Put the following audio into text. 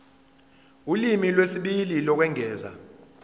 ulimi lwesibili lokwengeza